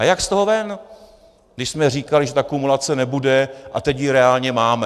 A jak z toho ven, když jsme říkali, že ta kumulace nebude, a teď ji reálně máme?